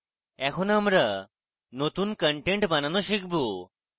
এখন আমরা নতুন content বানানো শিখব